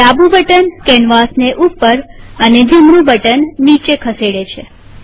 ડાબું બટન કેનવાસને ઉપર અને જમણું બટન નીચે ખસેડે છે